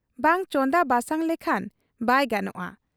ᱵᱟᱝ ᱪᱚᱸᱫᱟ ᱵᱟᱥᱟᱝ ᱞᱮᱠᱷᱟᱱ ᱵᱟᱭ ᱜᱟᱱᱚᱜ ᱟ ᱾